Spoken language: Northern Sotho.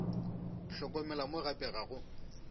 hlokomela mo gape ga go